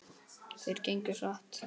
Þeir gengu hratt.